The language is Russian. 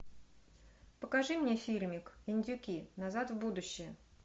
покажи мне фильмик индюки назад в будущее